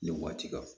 Nin waati kan